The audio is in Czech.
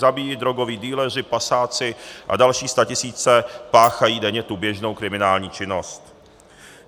Zabíjejí drogoví dealeři, pasáci a další statisíce páchají denně tu běžnou kriminální činnost.